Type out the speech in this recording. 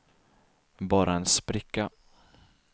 bara en spricka